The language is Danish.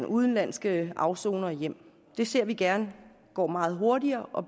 udenlandske afsonere hjem det ser vi gerne går meget hurtigere og